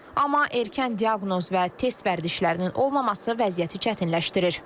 Amma erkən diaqnoz və test vərdişlərinin olmaması vəziyyəti çətinləşdirir.